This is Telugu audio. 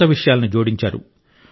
కొత్త విషయాలను జోడించారు